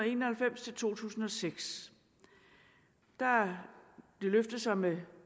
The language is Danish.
en og halvfems til to tusind og seks har det løftet sig med